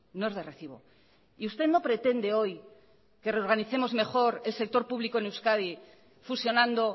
no es de recibo y usted no pretende hoy que reorganicemos el sector público en euskadi fusionando